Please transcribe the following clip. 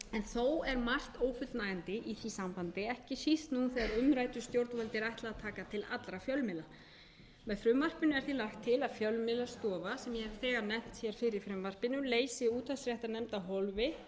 þó er margt ófullnægjandi í því sambandi ekki síst nú þegar umræddu stjórnvaldi er ætlað að taka til allra fjölmiðla með frumvarpinu er því lagt til að fjölmiðlastofa sem eg hef þegar nefnt hér fyrr í frumvarpinu leysi útvarpsréttarnefnd af hólmi